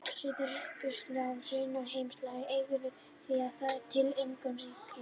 Suðurskautslandið er í raun heimsálfa án eiganda því það tilheyrir engu ríki.